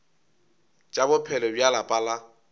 tša bophelo bja lapa la